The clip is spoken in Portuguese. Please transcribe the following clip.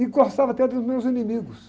E gostava até dos meus inimigos.